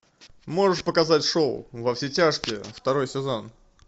можешь показать шоу во все тяжкие второй сезон